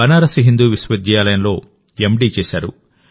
బనారస్ హిందూ విశ్వవిద్యాలయంలో ఎండీ చేశారు